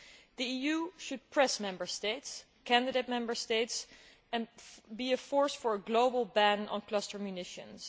The EU should press Member States and candidate Member States, and be a force for a global ban on cluster munitions.